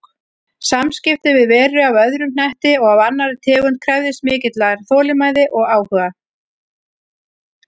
Samskipti við veru af öðrum hnetti og af annarri tegund krefðist mikillar þolinmæði og áhuga.